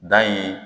Dan in